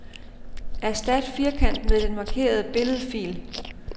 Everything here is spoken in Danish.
Erstat firkant med den markerede billedfil.